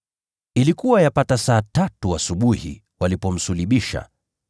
Ilikuwa yapata saa tatu asubuhi walipomsulubisha.